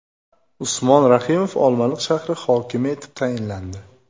Usmon Rahimov Olmaliq shahri hokimi etib tayinlandi.